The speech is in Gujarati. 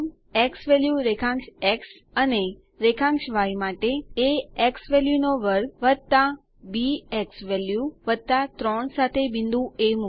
ઝવેલ્યુ રેખાંશ અને રેખાંશ ય માટે xValue2 બી ઝવેલ્યુ 3 સાથે બિંદુ એ મુકો